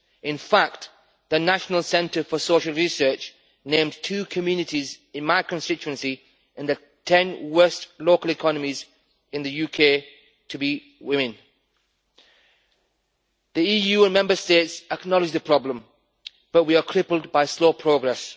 In fact, the National Centre for Social Research named two communities in my constituency in the 10 worst local economies in the UK to be women. The EU and Member States acknowledge the problem, but we are crippled by slow progress.